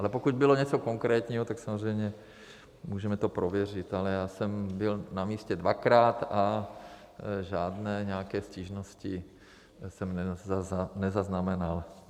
Ale pokud bylo něco konkrétního, tak samozřejmě můžeme to prověřit, ale já jsem byl na místě dvakrát a žádné nějaké stížnosti jsem nezaznamenal.